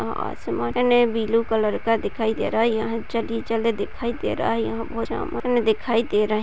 आसमान में blue colour का दिखाई दे रहा है। यहाँ दिखाई दे रहा है यहां बहोत दिखाई दे रहें --